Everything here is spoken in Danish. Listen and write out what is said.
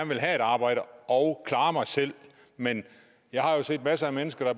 vil have et arbejde og klare mig selv men jeg har jo set masser af mennesker der